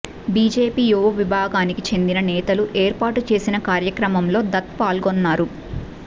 BJP యువ విభాగానికి చెందిన నేతలు ఏర్పాటు చేసిన కార్యక్రమంలో దత్ పాల్గొన్నారు